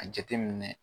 A jateminɛ